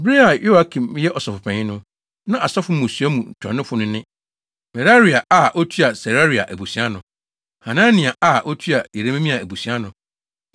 Bere a Yoiakim yɛ ɔsɔfopanyin no, na asɔfo mmusua mu ntuanofo no ne: Meraia a otua Seraia abusua ano. Hanania a otua Yeremia abusua ano.